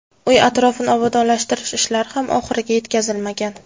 Uy atrofini obodonlashtirish ishlari ham oxiriga yetkazilmagan.